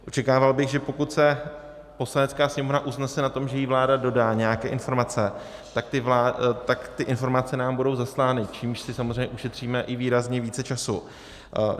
Očekával bych, že pokud se Poslanecká sněmovna usnese na tom, že jí vláda dodá nějaké informace, tak ty informace nám budou zaslány, čímž si samozřejmě ušetříme i výrazně více času.